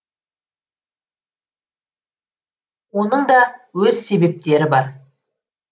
оның да өз себептері бар